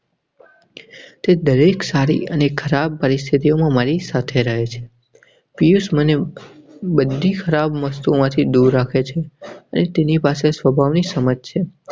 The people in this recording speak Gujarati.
તે દરેક સારી અને ખરાબ પરિસ્થિતિઓ મારી સાથે રહે છે. પીયૂષ બધી ખરાબ વસ્તુમાંથી દૂર રાખે છે. તેની પાસે સ્વભાવની સમાજ છે.